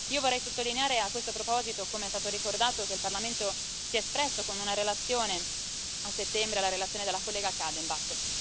Io vorrei sottolineare a questo proposito, come è stato ricordato, che il Parlamento si è espresso con una relazione, a settembre, della collega Kadenbach.